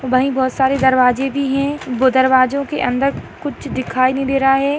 वही बहुत सारी दरवाजे भी है वो दरवाजों के अंदर कुछ दिखाई नहीं दे रहा है।